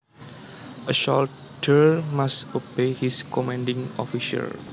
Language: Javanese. A soldier must obey his commanding officer